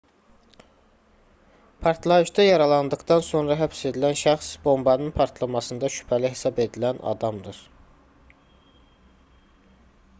partlayışda yaralandıqdan sonra həbs edilən şəxs bombanın partlamasında şübhəli hesab edilən adamdır